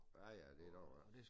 Ja ja det der jo også